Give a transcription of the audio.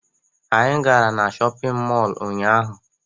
Anyị gara shọpiñ mọlu ụnyaahụ.